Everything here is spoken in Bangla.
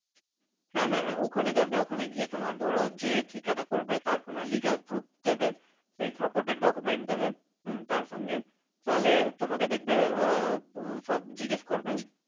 হ্যাঁ হ্যাঁ, ওখানে যাবে ওখানে গিয়ে তোমার ধরো যে ঠিকানা করবে তার কোনো legal proof দেবে, সেই supported document দেবে, হম তার সঙ্গে তাহলে তোমাকে দেখবে ওরা সব জিজ্ঞেস করবে,